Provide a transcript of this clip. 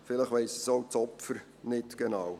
– Vielleicht weiss es auch das Opfer nicht genau.